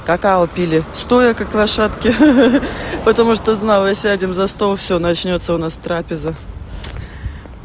какао пили стоя как лошадки ха-ха потому что знала сядем за стол всё начнётся у нас трапеза